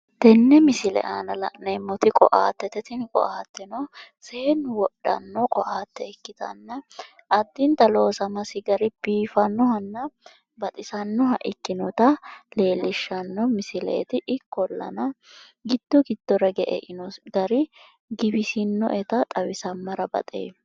Tenne misile aana la'neemmoti ko'attete ikkitanna tini ko'atteno Seennu wodhanno ko'atte ikkitanna addinta loosamasi gari biifannohabba baxisannoha ikkinota xawissanno misileeti. Ikkollan giddo giddora hige einosi gari giwisinnoeta xawisammara baxeemma.